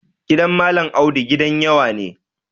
Gidan Malam Audu gidan yawa ne.